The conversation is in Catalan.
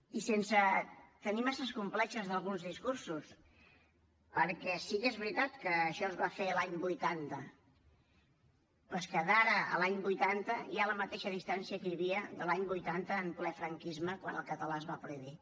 i sense tenir massa complexos d’alguns discursos perquè sí que és veritat que això es va fer l’any vuitanta però és que d’ara a l’any vuitanta hi ha la mateixa distància que hi havia de l’any vuitanta a ple franquisme quan el català es va prohibir